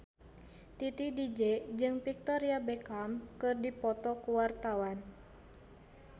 Titi DJ jeung Victoria Beckham keur dipoto ku wartawan